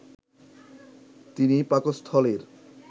তিনি পাকস্থলীর